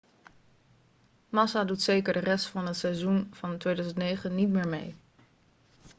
massa doet zeker de rest van het seizoen van 2009 niet meer mee